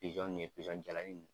Pizɔn nun ye pizɔn jalanin nun.